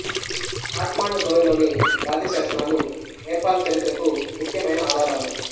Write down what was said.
ఖాట్మండు లోయలోని రాతి శాసనాలు నేపాల్ చరిత్రకు ముఖ్యమైన ఆధారాలు